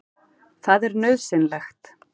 Það er nauðsynlegt.